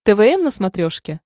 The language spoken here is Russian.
твм на смотрешке